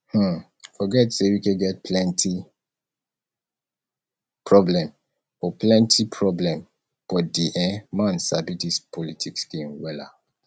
um forget say wike get plenty problem but plenty problem but the um man sabi dis politics game wella